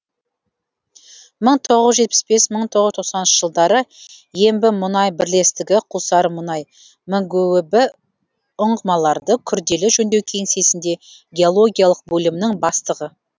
мың тоғыз жүз жетпіс бес мың тоғыз жүз тоқсаныншы жылдары ембімұнай бірлестігі құлсарымұнай мгөб ұңғымаларды күрделі жөндеу кеңсесінде геологиялық бөлімнің бастығы